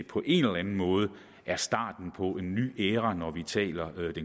på en eller anden måde er starten på en ny æra når vi taler